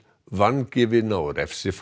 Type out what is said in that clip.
vangefinna og